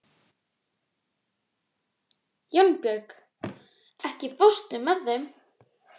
Jónbjörg, ekki fórstu með þeim?